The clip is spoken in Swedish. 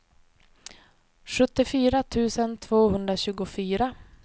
sjuttiofyra tusen tvåhundratjugofyra